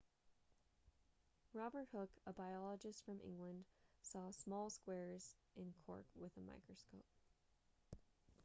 robert hooke a biologist from england saw small squares in cork with a microscope